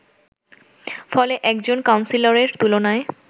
ফলে একজন কাউন্সিলরের তুলনায়